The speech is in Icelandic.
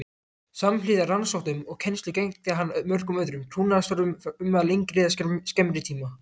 Samhliða rannsóknum og kennslu gegndi hann mörgum öðrum trúnaðarstörfum um lengri eða skemmri tíma.